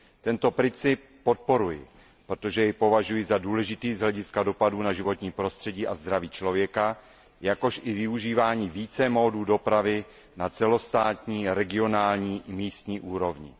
Tento princip podporuji, protože jej považuji za důležitý z hlediska dopadu na životní prostředí a zdraví člověka jako i využívání více způsobů dopravy na celostátní, regionální i místní úrovni.